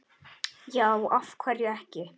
Já, af hverju ekki?